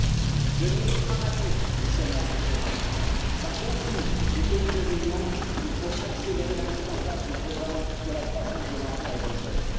Enfin, concernant le niveau dramatique du chômage des jeunes, dans beaucoup de pays de l'Union, il faut accélérer la mise en place du programme sur la croissance de l'emploi et des jeunes.